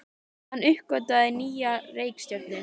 Hann uppgötvaði nýja reikistjörnu!